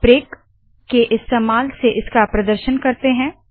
चलिए ब्रेक के इस्तेमाल से इसका प्रदर्शन करते है